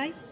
bai